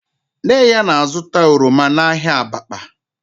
Nne ya na-azụta oroma n'ahịa Abakpa